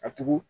A tugun